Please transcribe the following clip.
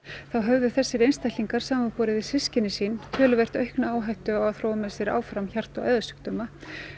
þá höfðu þessir einstaklingar samanborið við systkini sín töluvert aukna áhættu á að þróa með sér hjarta og æðasjúkdóma